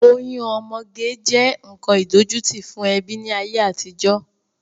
Oyún ọmọge jẹ́ nkan idojuti fún ẹbí ni ayé àtijọ́.